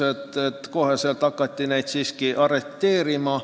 Kohe hakati neid siiski arreteerima.